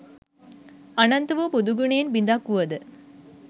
අනන්ත වු බුදු ගුණයෙන් බිඳක් වුවද